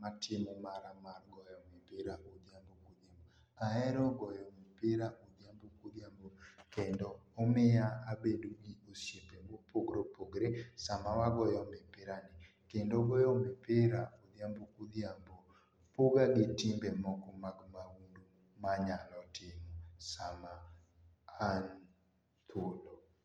matimo mara mar goyo mipira ondiambo kodhiambo aero goyo mipira odhiambo kodhiambo kendo omiya abedo gi osiepe ma opogore opogore samawagoyo mipirani kenda goyo mipira odhiambo kodhiambo poga gi tembe moko mag maundu manyalotimo sama an thuolo.